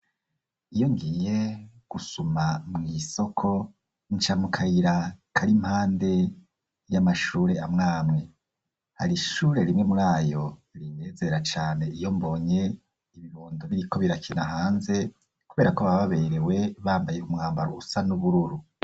Iyo ngiye gusuma mu isoko incamukayira kari impande y'amashure amwamwe hari ishure rimwe muri ayo rinyezera cane iyo mbonye ibibondo biriko birakina hanze kubera ko ababa baberewe bambaye umwambaro usa n'ubururu.